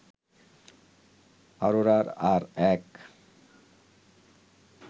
অরোরার আর এক